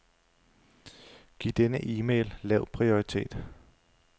Giv denne e-mail lav prioritet.